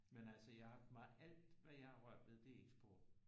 Men altså jeg har meget alt hvad jeg har rørt ved det er eksport